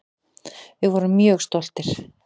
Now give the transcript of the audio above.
Við vorum mjög stoltir.